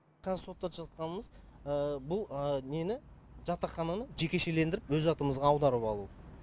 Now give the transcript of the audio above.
қазір соттасып жатқанымыз бұл нені жатақхананы жекешеленіп өз атымызға аударып алу